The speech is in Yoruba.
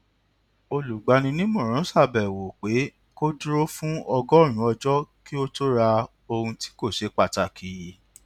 olùgbaninímòràn ṣàbẹwò pé kó dúró fún ọgọrùnún ọjọ kí ó tó rà ohun tí kò ṣe pàtàkì